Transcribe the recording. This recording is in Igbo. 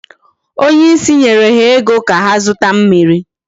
Onye isi nyere ha ego ka ha zụta mmiri.